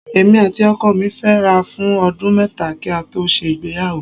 Èmi àti ọkọ mí fẹ́ra fún ọdún mẹ́ta kí a tó ṣe ìgbéyàwó